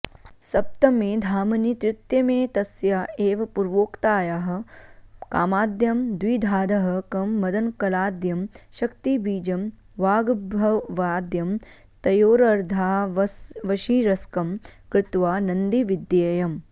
सप्तमे धामनि तृतीयमेतस्या एव पूर्वोक्तायाः कामाद्यं द्विधाधः कं मदनकलाद्यं शक्तिबीजं वाग्भवाद्यं तयोरर्धावशिरस्कं कृत्वा नन्दिविद्येयम्